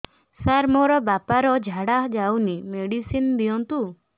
ସାର ମୋର ବାପା ର ଝାଡା ଯାଉନି ମେଡିସିନ ଦିଅନ୍ତୁ